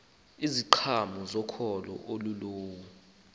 iziqhamo zokholo olululo